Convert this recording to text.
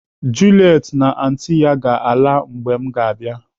Juliet na anti ya ga-ala mgbe m ga-abịa.